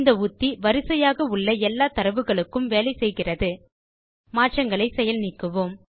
இந்த உத்தி வரிசையாக உள்ள எல்லா தரவுகளுக்கும் வேலை செய்கிறதுமாற்றங்களை நீக்குவோம்